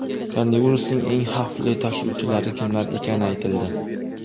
Koronavirusning eng xavfli tashuvchilari kimlar ekani aytildi.